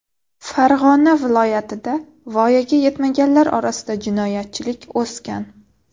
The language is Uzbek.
Farg‘ona viloyatida voyaga yetmaganlar orasida jinoyatchilik o‘sgan.